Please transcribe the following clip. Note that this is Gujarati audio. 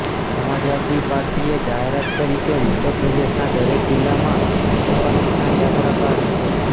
સમાજવાદી પાર્ટીએ જાહેરાત કરી કે ઉત્તર પ્રદેશના દરેક જિલ્લામાં સપા કિસાન યાત્રા કાઢશે